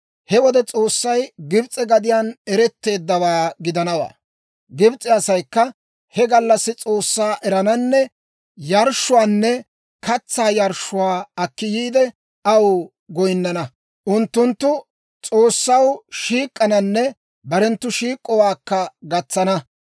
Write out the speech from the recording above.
He wode S'oossay Gibs'e gadiyaan eretteeddawaa gidanawaa; Gibs'e asaykka he gallassi S'oossaa erananne yarshshuwaanne katsaa yarshshuwaa akki yiide, aw goyinana. Unttunttu S'oossaw shiik'k'ananne barenttu shiik'owaakka gatsana.